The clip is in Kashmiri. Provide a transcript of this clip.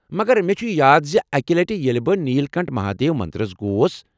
مگر مےٚ چھ یاد زِ اکہ لٹہ ییٚلہ بہٕ نیل کنٹھ مہادیو مندر گوس ۔